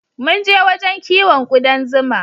Munje wajen kiwon kuɗan zuma